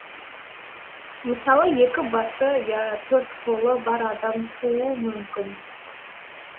мысалы екі басы я төрт қолы бар адам тууы мүмкін